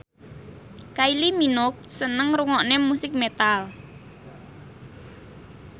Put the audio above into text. Kylie Minogue seneng ngrungokne musik metal